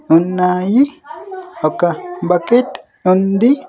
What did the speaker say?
ఉన్నాయి ఒక బకెట్ ఉంది.